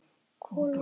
Kol og vistir.